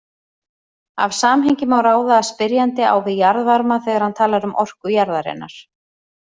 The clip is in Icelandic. Af samhengi má ráða að spyrjandi á við jarðvarma þegar hann talar um orku jarðarinnar.